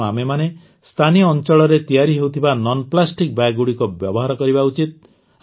ତେଣୁ ଆମେମାନେ ସ୍ଥାନୀୟ ଅଂଚଳରେ ତିଆରି ହେଉଥିବା ନନ୍ ପ୍ଲାଷ୍ଟିକ୍ ବ୍ୟାଗଗୁଡ଼ିକ ବ୍ୟବହାର କରିବା ଉଚିତ